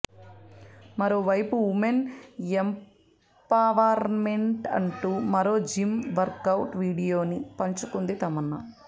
మరోవైపు women empowerment అంటూ మరో జిమ్ వర్కౌట్ వీడియోని పంచుకుంది తమన్నా